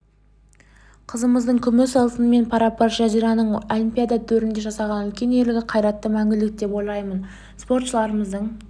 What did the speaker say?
қызымыздың күмісі алтынмен пара-пар жазираның олимпиада төрінде жасаған үлкен ерлігі қайраты мәңгілік деп ойлаймын спортшыларымыздың